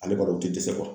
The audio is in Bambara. Ale kɔni o tɛ dɛsɛ